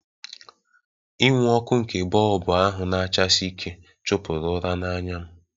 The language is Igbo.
Inwu ọkụ nke bọlbụ ahụ na-achasi ike chụpụrụ ụra n'anya m